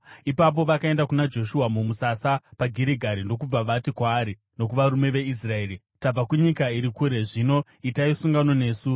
Ipapo vakaenda kuna Joshua mumusasa paGirigari ndokubva vati kwaari nokuvarume veIsraeri, “Tabva kunyika iri kure; zvino itai sungano nesu.”